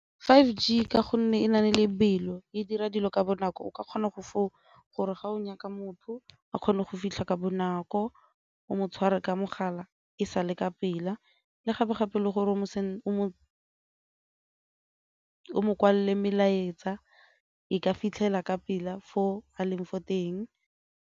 five G ka gonne e lebelo, e dira dilo ka bonako o ka kgona go gore ga o nyaka motho a kgone go fitlha ka bonako, o mo tshware ka mogala e sale ka pela le gape-gape le gore o mo kwalele melaetsa e ka fitlhela ka pela fo a leng fo teng.